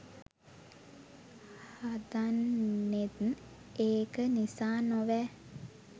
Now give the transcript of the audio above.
හදන්නේත් ඒක නිසා නොවෑ